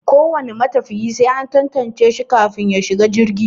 Ko wane matafiya sai an tantance shi kafin ya shiga jirgi.